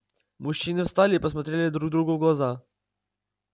мужчины встали и посмотрели друг другу в глаза